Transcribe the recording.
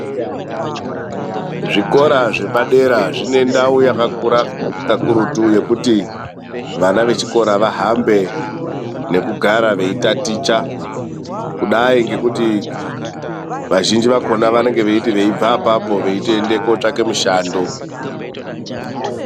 Zvikora zvepadera zvine ndau yakakura kakurutu, yekuti vana vechikora vahambe nekugara veitaticha. Kudai ngekuti vazhinji vakhona vanenge veiti veibve ipapo veitoende kuotsvaka mishando.